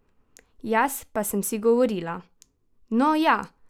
Jaz pa sem si govorila: "No, ja ...